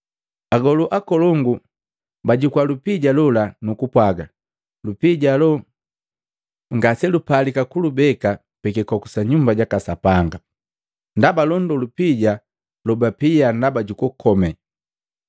Agolu akolongu bajukua lupija lola, nukupwaga, “Lupija alo ngaselupalika kulubeka pi kikoku sa Nyumba jaka Sapanga, ndaba londo lupija lobapia ndaba jukukome.”